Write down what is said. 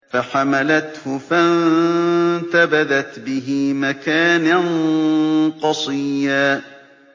۞ فَحَمَلَتْهُ فَانتَبَذَتْ بِهِ مَكَانًا قَصِيًّا